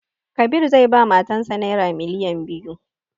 Kabir zai ba matan sa naira miliyan biyu